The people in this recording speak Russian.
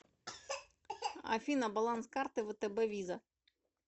афина баланс карты втб виза